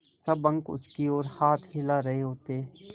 सब अंक उसकी ओर हाथ हिला रहे होते